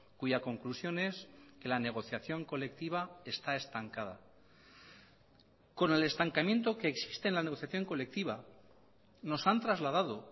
cuya conclusión es que la negociación colectiva está estancada con el estancamiento que existe en la negociación colectiva nos han trasladado